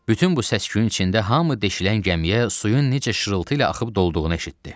Bütün bu səs-küyün içində hamı deşilən gəmiyə suyun necə şırıltı ilə axıb dolduğunu eşitdi.